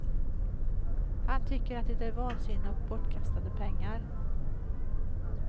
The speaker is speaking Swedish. Han tycker att det är vansinne och bortkastade pengar.